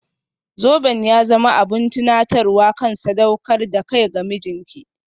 Zoben ya zama abin tunatarwa kan sadaukar da kai ga mijinki.